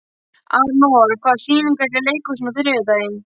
Anor, hvaða sýningar eru í leikhúsinu á þriðjudaginn?